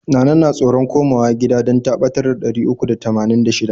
Nana na tsoron koma wa gidan dan ta ɓatar da ɗari uku da tamanin da shida.